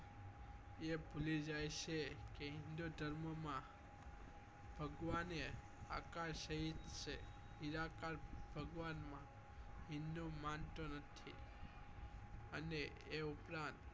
એ ભૂલી જાય છે કે હિન્દુધર્મ માં ભગવાને આકાશ સહીત જ છે ઈલા કાળ ભગવાન હિંદુ મંત્ર છે અને એ ઉપરાંત